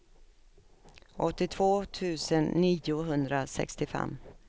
åttiotvå tusen niohundrasextiofem